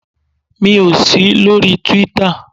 Mi ò sí lórí Twitter.